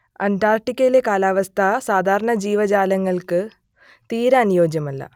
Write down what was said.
അന്റാർട്ടിക്കയിലെ കാലാവസ്ഥ സാധാരണ ജീവജാലങ്ങൾക്ക് തീരെ അനുയോജ്യമല്ല